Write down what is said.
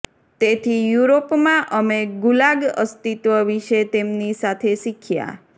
તેથી યુરોપમાં અમે ગુલાગ અસ્તિત્વ વિષે તેમની સાથે શીખ્યા